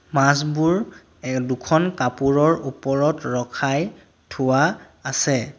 মাছবোৰ এ দুখন কাপোৰৰ ওপৰত ৰখাই থোৱা আছে।